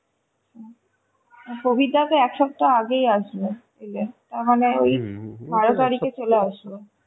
হম প্রবীরদা তো একসপ্তাহ আগেই আসবে এলে তারমানে ওই বারো তারিখে চলে আসবে